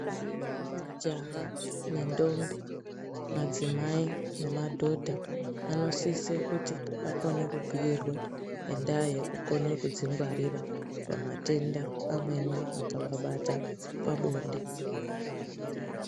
Majaha nentombi, madzimai nemadhodha vanosisa kuti vakone kubhiirwe ngendaa yekukona kudzingwarira pamatenda amweni angavabata pabonde.